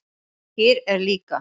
Skyr er líka